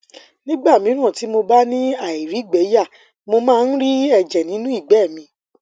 nígbà míràn tí mo bá ni airigbeya mo máa ń ri ẹjẹ nínú igbe mi